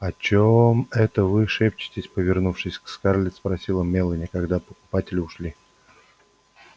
о чем это вы шептались повернувшись к скарлетт спросила мелани когда покупатели ушли